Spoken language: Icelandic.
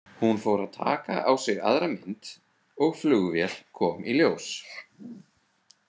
Hún fór að taka á sig aðra mynd og flugvél kom í ljós.